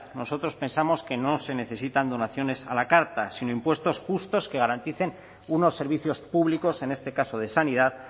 nosotros pensamos que no se necesitan donaciones a la carta sino impuestos justos que garanticen unos servicios públicos en este caso de sanidad